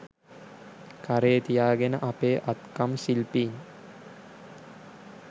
කරේ තියාගෙන අපේ අත්කම් ශිල්පීන්